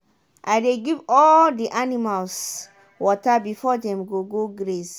i dey give all the animals water before dem go go graze.